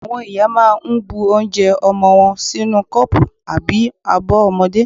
Àwọn ìyá máà ń bu onje ọmọwọ́ sínú kọ́pù àbí abọ́ ọmọdé.